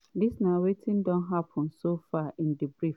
dis na wetin don happen so far in brief: